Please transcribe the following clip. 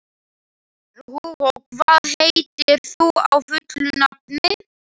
Jú, það er satt, sögðu hinar tvær.